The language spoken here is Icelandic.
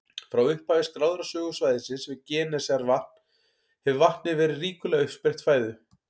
Frá upphafi skráðrar sögu svæðisins við Genesaretvatn hefur vatnið verið ríkuleg uppspretta fæðu.